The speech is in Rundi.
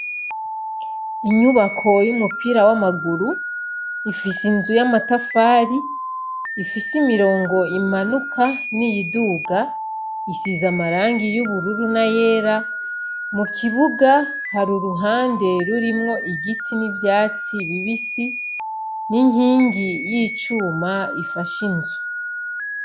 Inyubako y'umupira w'amaguru ifise inzu y'amatafari ifise imirongo imanuka n'iyiduga isiza amarangi y'ubururu na yera mu kibuga hari uruhande rurimwo igiti n'ivyatsi bibisi n'inkingi y'icuma ifasha inzwe.